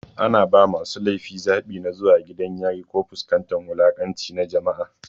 Ana ba masu laifi zaɓi na zuwa gidan yari ko fuskantar wulaƙanci na jama'a.